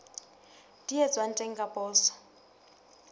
di etswang teng ka poso